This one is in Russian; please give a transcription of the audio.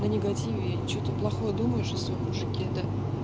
на негативе что-то плохое думаешь о своём мужике да